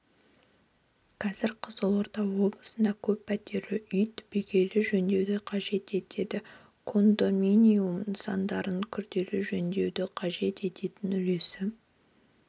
қазір қызылорда облысында көппәтерлі үй түбегейлі жөндеуді қажет етеді кондоминиум нысандарының күрделі жөндеуджі қажет етін үлесі